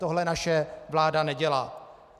Tohle naše vláda nedělá.